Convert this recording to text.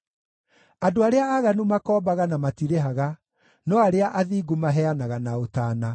Andũ arĩa aaganu makoombaga na matirĩhaga, no arĩa athingu maheanaga na ũtaana;